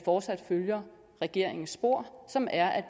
fortsat følger regeringens spor som er at